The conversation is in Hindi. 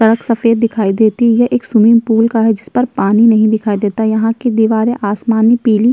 सड़क सफेद दिखाई देती हैं। एक स्विमिंग पूल का हैं। जिस पर पानी नहीं दिखाई देता। यहाँ की दीवारे आसमानी पीली --